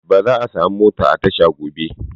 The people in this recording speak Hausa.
Ba za'a samu mota a tasha gobe.